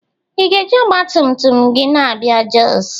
ị ga-eji ọgbatumtum gị na-abịa Jos?